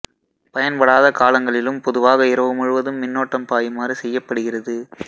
பயன்படாத காலங்களிலும் பொதுவாக இரவு முழுவதும் மின்னோட்டம் பாயுமாறு செய்யப்படுகிறது